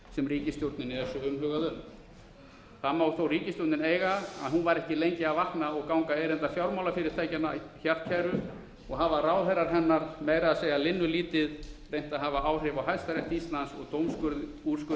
sem ríkisstjórninni er svo umhugað um það má þó ríkisstjórnin eiga að hún var ekki lengi að vakna og ganga erinda fjármálafyrirtækjanna hjartkæru og hafa ráðherrar hennar meira að segja linnulítið reynt að hafa áhrif á hæstarétt íslands og dómsúrskurði hans